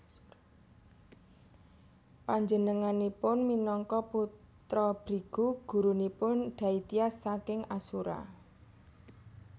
Panjenenganipun minangka putra Brigu gurunipun Daityas saking Asura